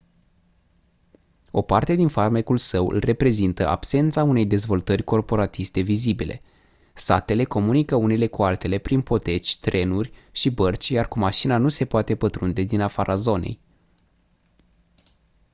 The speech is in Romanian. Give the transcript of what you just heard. o parte din farmecul său îl reprezintă absența unei dezvoltări corporatiste vizibile satele comunică unele cu altele prin poteci trenuri și bărci iar cu mașina nu se poate pătrunde din afara zonei